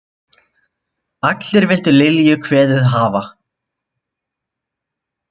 Allir vildu Lilju kveðið hafa.